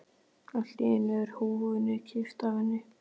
Allt í einu er húfunni kippt af henni!